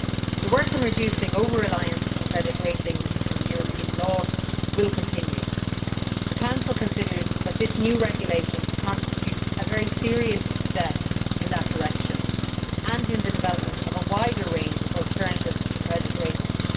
The work on reducing over reliance on credit ratings in the European law will continue. The Council considers that this new regulation constitutes a very serious step in that direction and in the development of a wider range of alternatives to credit ratings.